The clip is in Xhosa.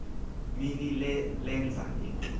mini lenza into